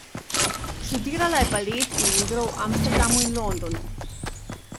Študirala je balet in igro v Amsterdamu in Londonu.